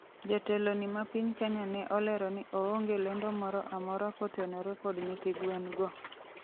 jateloni ma piny Kenya ne olero ni oonge lendo moro amora kotenore kod nyithi gwen'go